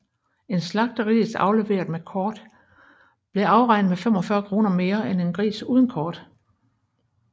En slagtegris afleveret med kort blev afregnet med 45 kr mere end en gris uden kort